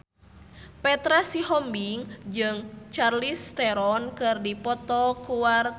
Petra Sihombing jeung Charlize Theron keur dipoto ku wartawan